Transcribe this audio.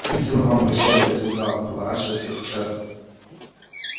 спасибо вам большое ответил гаал поворачиваясь к офицеру